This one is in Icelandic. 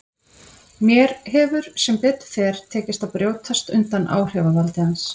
Mér hefur sem betur fer tekist að brjótast undan áhrifavaldi hans.